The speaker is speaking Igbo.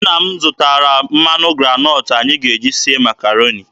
Nna m zụtara mmanụ granọtụ anyị ga-eji sie Makaroni.